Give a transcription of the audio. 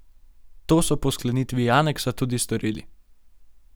To so po sklenitvi aneksa tudi storili.